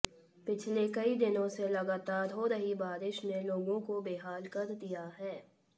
पिछले कई दिनों से लगातार हो रही बारिश ने लोगों को बेहाल कर दिया है